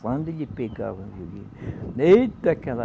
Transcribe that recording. Quando ele pegava o violino, eita, aquela